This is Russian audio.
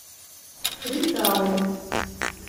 фритаун